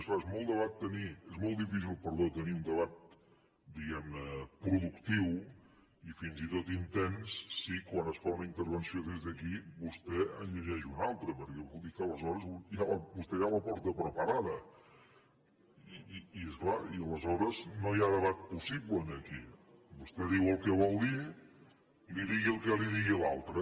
i és clar és molt difícil tenir un debat diguem ne productiu i fins i tot intens si quan es fa una intervenció des d’aquí vostè en llegeix una altra perquè vol dir que aleshores vostè ja la porta preparada i és clar aleshores no hi ha debat possible aquí vostè diu el que vol dir li digui el que li digui l’altre